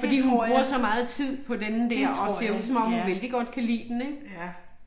Fordi hun bruger så meget tid på denne der og ser ud som om hun vældig godt kan lide den ik?